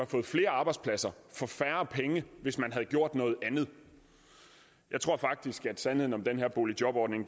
fået flere arbejdspladser for færre penge hvis man havde gjort noget andet jeg tror faktisk at sandheden om den her boligjobordning